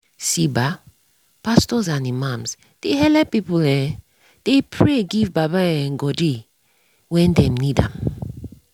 see bah pastos and imams dey helep pipu um dey pray give baba um godey when dem need am